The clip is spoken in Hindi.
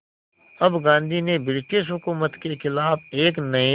अब गांधी ने ब्रिटिश हुकूमत के ख़िलाफ़ एक नये